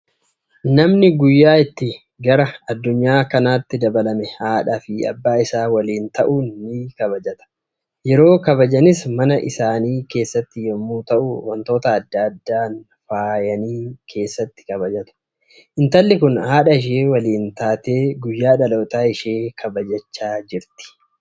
Namni guyyaa itt gara addunyaa kanaatti dabalame haadhaa fi abbaa isaa waliin ta'uun ni kabajata. Yeroo kabajanis mana isaanii keessatti yommuu ta'u, wantoota adda addaan faayanii keessatii kabajatu. Intalli kun haadha ishee waliin taate guyyaa dhaloota ishee kabajachaa jirti.